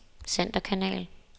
centerkanal